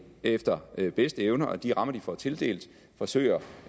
efter bedste evne og de rammer de får tildelt forsøger